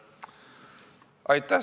Aitäh!